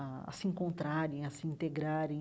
a a se encontrarem, a se integrarem.